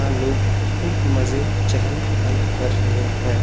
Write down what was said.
यह लोग खूब मजे चहल पहल कर रहे हैं।